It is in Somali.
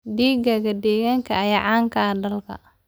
Digaagga deegaanka ayaa caan ka ah dalka.